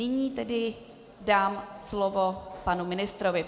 Nyní tedy dám slovo panu ministrovi.